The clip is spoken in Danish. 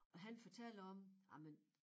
Og han fortalte om ej men